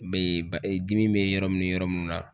Be ba ee dimi be yɔrɔ min ni yɔrɔ mun na.